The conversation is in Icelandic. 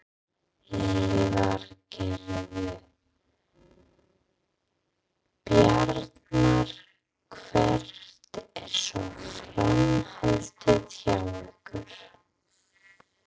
Lillý Valgerður: Bjartmar hvert er svo framhaldið hjá ykkur?